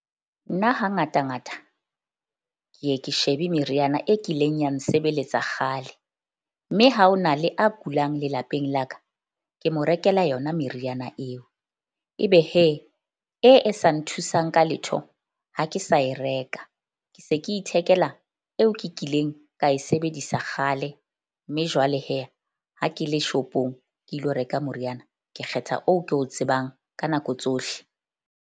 Nna hangata ngata ke ye ke shebe meriana e kileng ya nsebeletsa kgale. Mme ha ho na le a kulang lelapeng la ka, ke mo rekela yona meriana eo. Ebe e e sa nthusang ka letho, ha ke sa e reka, ke se ke ithekela eo ke kileng ka e sebedisa kgale. Mme jwale ha ke le shop-ong ke ilo reka moriana ke kgetha oo ke o tsebang ka nako tsohle.